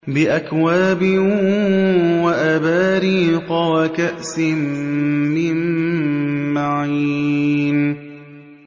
بِأَكْوَابٍ وَأَبَارِيقَ وَكَأْسٍ مِّن مَّعِينٍ